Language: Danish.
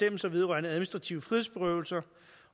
ønsket ordet